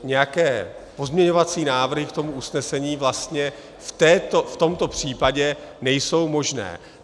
Nějaké pozměňovací návrhy k tomu usnesení vlastně v tomto případě nejsou možné.